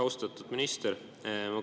Austatud minister!